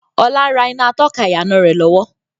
Ọlá ń rà iná atọ́ka ìyànà rẹ lọ́wọ́